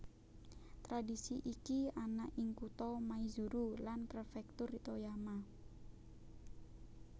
Tradhisi iki ana ing kutha Maizuru lan prefektur Toyama